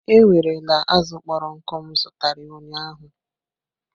Ewerela azụ kpọrọ nkụ m zụtara ụnyaahụ!